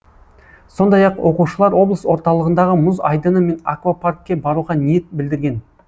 сондай ақ оқушылар облыс орталығындағы мұз айдыны мен аквапаркке баруға ниет білдірген